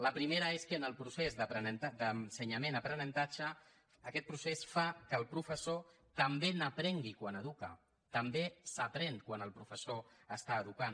la primera és que en el procés d’ensenyament aprenentatge aquest procés fa que el professor també n’aprengui quan educa també s’aprèn quan el professor està educant